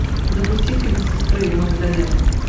запусти фильм сестры магдалены